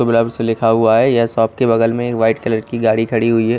लिखा हुआ है यह सॉफ्ट के बगल में वाईट कलर गाड़ी खड़ी हुई है।